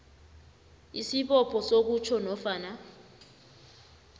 isibopho sokutjho nofana